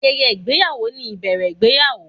Ayẹyẹ ìgbéyàwó ni ìbẹ̀rẹ̀ ìgbéyàwó.